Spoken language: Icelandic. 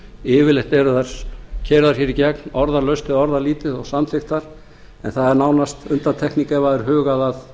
yfirleitt eru þær keyrðar hér í gegn orðalaust eða orðalítið og samþykktar en það er nánast undantekning ef það er hugað að